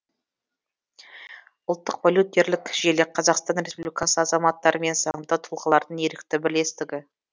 ұлттық волонтерлік желі қазақстан республикасы азаматтары мен заңды тұлғалардың ерікті бірлестігі